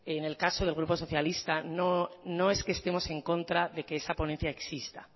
en el caso del grupo socialista no es que estemos en contra de que esa ponencia exista